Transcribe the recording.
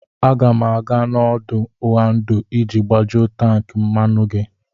Aga m aga n'ọdụ̀ Oando iji gbajuo tankị mmanụ gị.